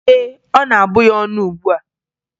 Ee, ọ na-abụ ya ọnụ ugbua.